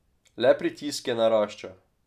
Le pritisk je naraščal.